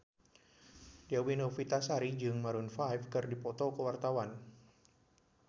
Dewi Novitasari jeung Maroon 5 keur dipoto ku wartawan